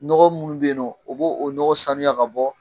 Nɔgɔn munnu be yen nɔn, o b'o nɔgɔn sanuya ka bɔ